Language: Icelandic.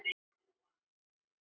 Svo gerðist það.